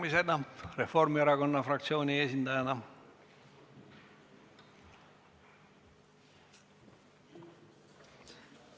Maris Lauri Reformierakonna fraktsiooni esindajana, palun!